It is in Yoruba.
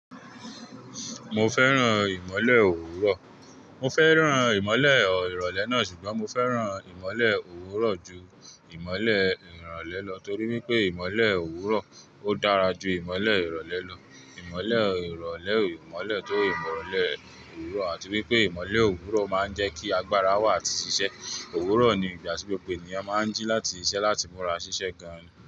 Mo fẹ́ràn ìmọ́lẹ̀ òwúrọ̀. Mo fẹ́ràn ìmọ́lẹ̀ ìrọ̀lẹ́ náà ṣùgbọ́n mo fẹ́ràn ìmọ́lẹ̀ òwúrọ̀ ju ìmọ́lẹ̀ ìrọ̀lẹ́ lọ torí wipé ìmọ́lẹ̀ òwúrọ̀ ó dára ju ìmọ́lẹ̀ ìrọ̀lẹ́ lọ. Ìmọ́lẹ̀ ìrọ̀lẹ́ ò ìmọ́lẹ̀ tó ìmọ̀lẹ̀ òwúrọ̀ àti wípé ìmọ́lẹ̀ òwúrọ̀ máa ń jẹ́ kí agbára wà atí ṣíṣe. Òwúrọ̀ ni ìgbà tí gbogbo ènìyàn máa ń jí láti ṣiṣẹ́ láti múra ṣíṣe gan-an.